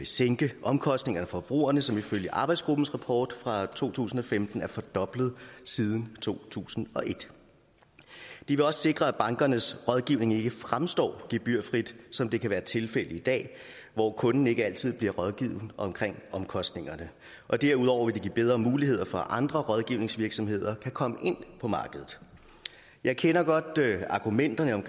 sænke omkostningerne for forbrugerne som ifølge arbejdsgruppens rapport fra to tusind og femten er fordoblet siden to tusind og et det vil også sikre at bankernes rådgivning ikke fremstår gebyrfri som det kan være tilfældet i dag hvor kunden ikke altid bliver rådgivet om omkostningerne og derudover vil det give bedre muligheder for at andre rådgivningsvirksomheder kan komme ind på markedet jeg kender godt argumenterne om